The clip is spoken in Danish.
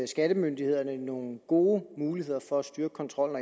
skattemyndighederne nogle gode muligheder for at styrke kontrollen